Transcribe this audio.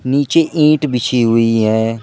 नीचे ईंट बिछी हुई है।